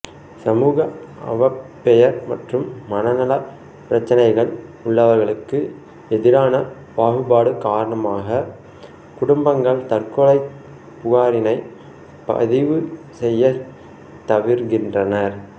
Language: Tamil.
சமூக அவப்பெயர் மற்றும் மனநலப் பிரச்சினைகள் உள்ளவர்களுக்கு எதிரான பாகுபாடு காரணமாக குடும்பங்கள் தற்கொலையைப் புகாரினைப் பதிவு செய்யச் தவிர்க்கின்றனர்